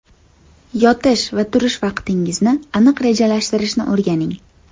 Yotish va turish vaqtingizni aniq rejalashtirishni o‘rganing.